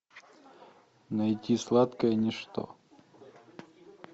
найти сладкое ничто